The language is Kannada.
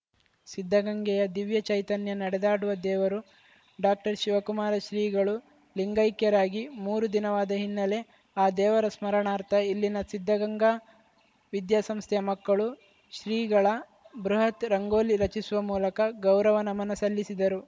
ಸಿದ್ಧಗಂಗೆಯ ದಿವ್ಯ ಚೈತನ್ಯ ನಡೆದಾಡುವ ದೇವರು ಡಾಕ್ಟರ್ ಶಿವಕುಮಾರ ಶ್ರೀಗಳು ಲಿಂಗೈಕ್ಯರಾಗಿ ಮೂರು ದಿನವಾದ ಹಿನ್ನೆಲೆ ಆ ದೇವರ ಸ್ಮರಣಾರ್ಥ ಇಲ್ಲಿನ ಸಿದ್ಧಗಂಗಾ ವಿದ್ಯಾಸಂಸ್ಥೆಯ ಮಕ್ಕಳು ಶ್ರೀಗಳ ಬೃಹತ್‌ ರಂಗೋಲಿ ರಚಿಸುವ ಮೂಲಕ ಗೌರವ ನಮನ ಸಲ್ಲಿಸಿದರು